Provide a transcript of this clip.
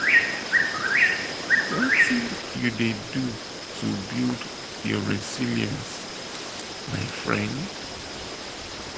wetin you dey do to build your resilience my friend?